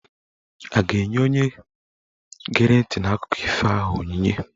A ga-enye onye gere ntị n'akụkọ ifo ahụ onyinye?